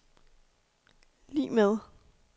lig med